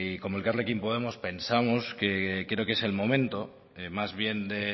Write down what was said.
como elkarrekin podemos pensamos que creo que es el momento más bien de